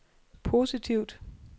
positivt